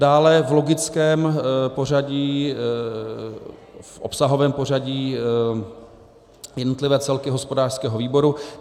Dále v logickém pořadí, v obsahovém pořadí, jednotlivé celky hospodářského výboru.